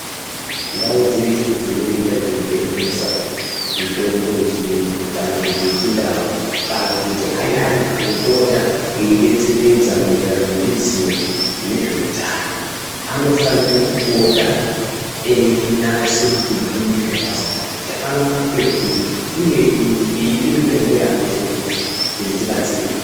Ndau dzeshe dzinoita dzeitengesaa mitombo yechiuyu kana kuti yechindau, kana kuti ayani anopota eibetseredza maererano neruzivo mune zveutano, anofanire kupota einyase kuti bhuyire zvakazara kuti anowanikwe kuri uye ngeipi mitombo yaanotengesa kuti tibatsirikee.